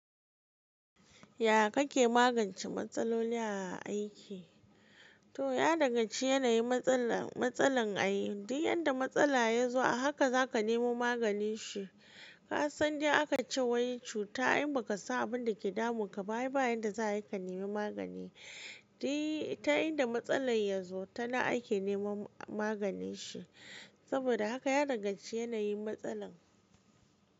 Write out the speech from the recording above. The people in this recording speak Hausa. Ya kake magance matsaloli a aiki? To ya dagan ci yanayin matsala, matsalar ayi. Diy yar da matsala ya zo a haka za ka nemo maganin shi. Ka san dai aka cewa wai cuta in ba ka sa abun da ke damun ka ba yi baya da za ka nemo magani. Diy ta inda matsalar ya zo tana ake nemo maganin shi. Saboda haka ya dangan ci yanayin matsalar.